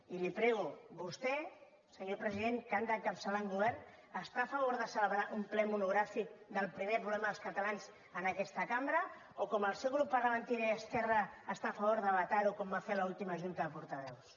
i li prego vostè senyor president que ha d’encapçalar un govern està a favor de celebrar un ple monogràfic del primer problema dels catalans en aquesta cambra o com el seu grup parlamentari i esquerra està a favor de vetar ho com van fer en l’última junta de portaveus